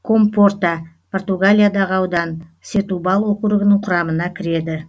компорта португалиядағы аудан сетубал округінің құрамына кіреді